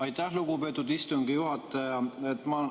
Aitäh, lugupeetud istungi juhataja!